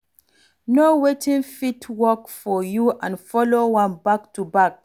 Know wetin fit work for you and follow am back to back